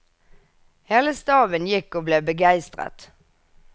Hele staben gikk og ble begeistret.